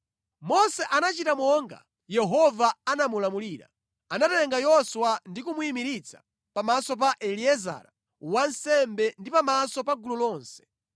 Mose anachita monga Yehova anamulamulira. Anatenga Yoswa ndi kumuyimiritsa pamaso pa Eliezara wansembe ndi pamaso pa gulu lonse.